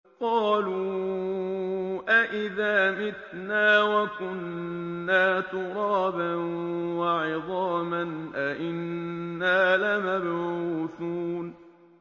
قَالُوا أَإِذَا مِتْنَا وَكُنَّا تُرَابًا وَعِظَامًا أَإِنَّا لَمَبْعُوثُونَ